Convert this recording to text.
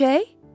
Görüşək?